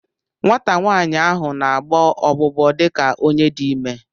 Nwata nwaanyị ahụ na-agbọ ọgbụgbọ dị ka ọ dị ime